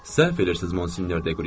Səhv eləyirsiz, Monsinyor Deyya.